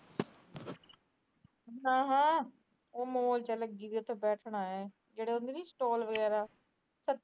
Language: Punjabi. ਨਾ ਨਾ ਉਹ ਮੋਜ ਲੱਗੀ ਉਥੇ ਬੈਠਣਾ ਸੱਤਰ ਹਜਾਰ ਰੁਪਏ ਤਨਖਾਹ